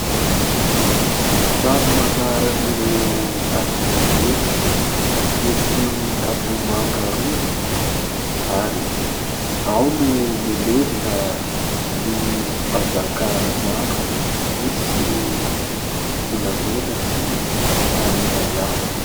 Trano manaran'ireo Andriana Merina etsy Ambohimanga rova ary ao no milevona ny mpanjaka maro misy volamena sy harena miafina.